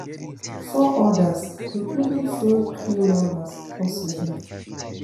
four others including film crew members also die